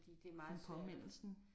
Sådan påmindelsen